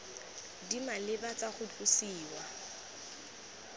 di maleba tsa go tlosiwa